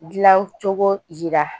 Dilancogo yira